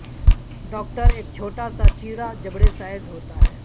doctor ایک چھوٹا سا چیرا جبڑے سائز ہوتا ہے